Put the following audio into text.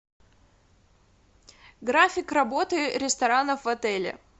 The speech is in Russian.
график работы ресторанов в отеле